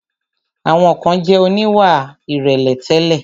Àwọn kan jẹ̀ oníwà ìrẹ̀lẹ̀ tẹ́lẹ̀.